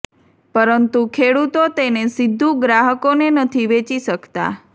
પરંતુ ખેડૂતો તેને સીધું ગ્રાહકો ને નથી વેચી શકતા